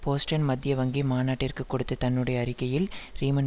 Boston மத்திய வங்கி மாநாட்டிற்கு கொடுத்த தன்னுடைய அறிக்கையில் ரீமன்